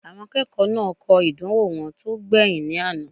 Àwọn akẹ́kọ̀ọ́ náà kọ ìdánwò wọn tó gbẹ̀yìn ní àná